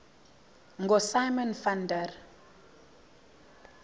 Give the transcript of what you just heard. ngosimon van der